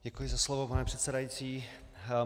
Děkuji za slovo, pane předsedající.